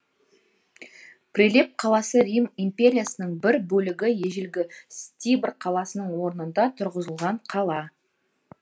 прилеп қаласы рим империясының бір бөлігі ежелгі стиберр қаласының орнында тұрғызылған қала